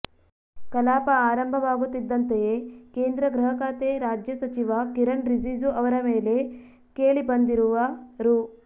ಕಲಾಪ ಆರಂಭವಾಗುತ್ತಿದ್ದಂತೆಯೇ ಕೇಂದ್ರ ಗೃಹ ಖಾತೆ ರಾಜ್ಯ ಸಚಿವ ಕಿರಣ್ ರಿಜಿಜು ಅವರ ಮೇಲೆ ಕೇಳಿ ಬಂದಿರುವ ರು